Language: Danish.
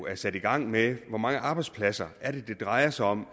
er sat i gang med at hvor mange arbejdspladser det drejer sig om